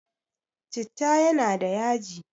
Citta yana da yaji